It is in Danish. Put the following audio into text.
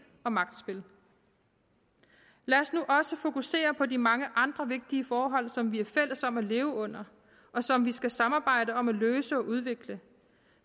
og magtspil lad os nu også fokusere på de mange andre vigtige forhold som vi er fælles om at leve under og som vi skal samarbejde om at løse og udvikle